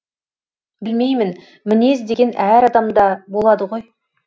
білмеймін мінез деген әр адамда болады ғой